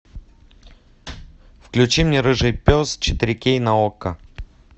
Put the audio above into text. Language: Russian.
включи мне рыжий пес четыре кей на окко